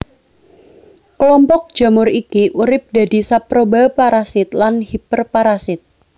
Kelompok jamur iki urip dadi saproba parasit lan hiperparasit